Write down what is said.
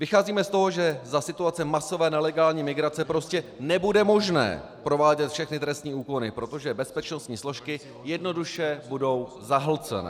Vycházíme z toho, že za situace masové nelegální migrace prostě nebude možné provádět všechny trestní úkony, protože bezpečnostní složky jednoduše budou zahlceny.